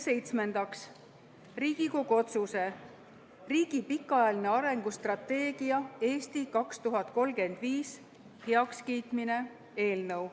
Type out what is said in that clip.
Seitsmendaks, Riigikogu otsuse "Riigi pikaajalise arengustrateegia "Eesti 2035" heakskiitmine" eelnõu.